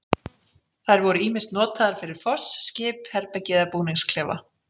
Þær voru ýmist notaðar fyrir foss, skip, herbergi eða búningsklefa.